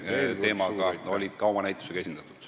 ... ehk puitehitistega, olid ka oma näitusega esindatud.